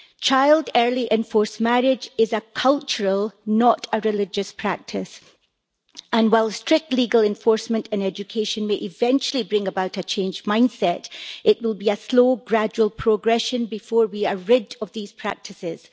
Child early and forced marriage is a cultural, not a religious, practice, and while strict legal enforcement and education may eventually bring about a changed mindset, it will be a slow, gradual progression before we are rid of these practices.